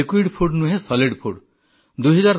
ତରଳ ନୁହେଁ କଠିନ ଖାଦ୍ୟ